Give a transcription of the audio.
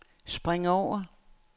spring over